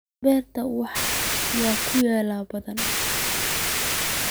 Beertaas waxaa ku yaal lo' badan